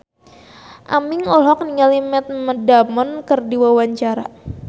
Aming olohok ningali Matt Damon keur diwawancara